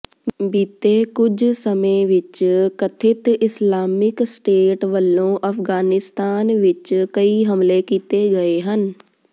ਬੀਤੇ ਕੁਝ ਸਮੇਂ ਵਿੱਚ ਕਥਿਤ ਇਸਲਾਮਿਕ ਸਟੇਟ ਵੱਲੋਂ ਅਫ਼ਗਾਨਿਸਤਾਨ ਵਿੱਚ ਕਈ ਹਮਲੇ ਕੀਤੇ ਗਏ ਹਨ